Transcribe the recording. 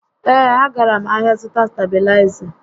Ee, a gara m ahịa zụta stabịlaịza